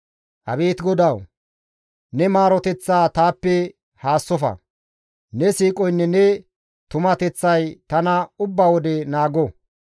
Abeet GODAWU! Ne maaroteththaa taappe haassofa; ne siiqoynne ne tumateththay tana ubba wode naago.